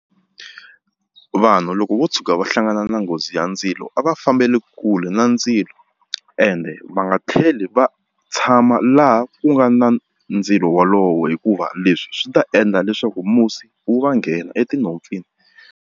Vanhu loko vo tshuka va hlangana na nghozi ya ndzilo a va fambeli kule na ndzilo ende va nga tlheli va tshama laha ku nga na ndzilo wolowo hikuva leswi swi ta endla leswaku musi wu va nghena etinhompfini.